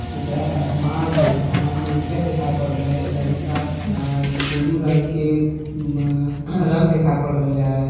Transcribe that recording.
ऊपरा पर आसमान हैं। आसमान में उजर देखाय पड़ रहले है। तनिसा अ ब्लू कलर की अ रंग दिखाय पड़ रहले है।